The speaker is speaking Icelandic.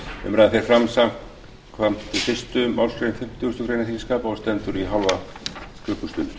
umræðan fer fram samkvæmt fyrstu málsgrein fimmtugustu grein þingskapa og stendur í hálfa klukkustund